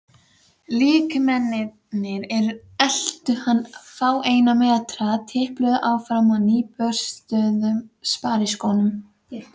Líkmennirnir eltu hann fáeina metra, tipluðu áfram á nýburstuðum spariskóm.